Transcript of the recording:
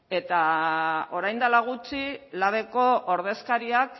eta orain dela gutxi labeko ordezkariak